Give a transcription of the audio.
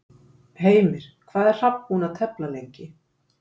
Heimir, hvað er Hrafn búinn að tefla lengi?